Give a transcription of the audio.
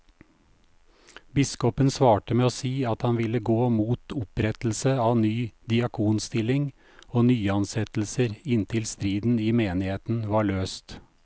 Biskopen svarte med å si at han ville gå mot opprettelse av ny diakonstilling og nyansettelser inntil striden i menigheten var løst.